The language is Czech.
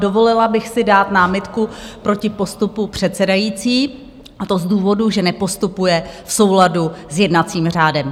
Dovolila bych si dát námitku proti postupu předsedající, a to z důvodu, že nepostupuje v souladu s jednacím řádem.